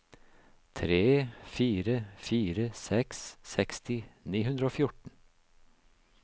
tre fire fire seks seksti ni hundre og fjorten